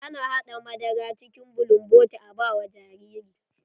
Ana haɗa madara cikin bulumboti a ba wa jariri.